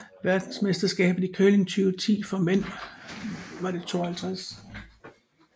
Verdensmesterskabet i curling 2010 for mænd var det 52